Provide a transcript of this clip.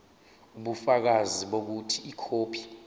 ubufakazi bokuthi ikhophi